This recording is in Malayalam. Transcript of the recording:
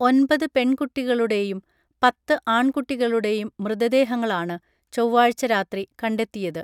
ഒൻപത് പെൺകുട്ടികളുടെയും പത്തു ആൺകുട്ടികളുടെയും മൃതദേഹങ്ങളാണ് ചൊവ്വാഴ്ച രാത്രി കണ്ടെത്തിയത്